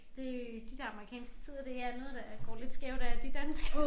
Det de der amerikanske tider det er noget der går lidt skævt af de danske